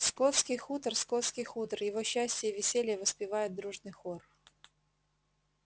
скотский хутор скотский хутор его счастье и веселье воспевает дружный хор